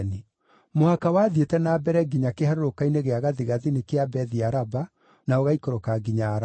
Mũhaka wathiĩte na mbere nginya kĩharũrũka-inĩ gĩa gathigathini kĩa Bethi-Araba na ũgaikũrũka nginya Araba.